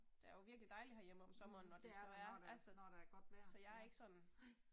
Der er jo virkelig dejligt herhjemme om sommeren når det så er altså så jeg er ikke sådan